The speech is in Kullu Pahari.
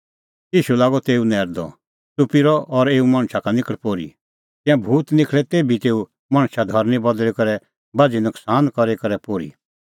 ईशू लागअ तेऊ नैरदअ च़ुप्पी रह और एऊ मणछा का निखल़ पोर्ही तिंयां भूत निखल़ै तेभी तेऊ मणछा धरनीं बदल़ी करै बाझ़ी नकसान करी करै पोर्ही